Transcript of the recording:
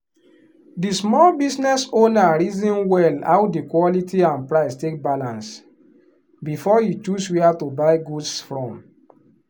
the small business owner reason well how the quality and price take balance before e choose where to buy goods from.